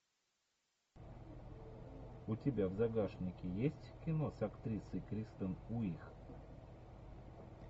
у тебя в загашнике есть кино с актрисой кристен уиг